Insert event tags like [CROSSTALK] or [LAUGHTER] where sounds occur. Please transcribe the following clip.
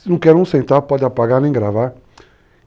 [UNINTELLIGIBLE] podem apagar nem gravar.